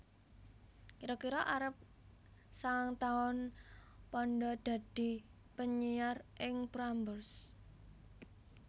Kira kira arep sangang taun Panda dadi penyiar ing Prambors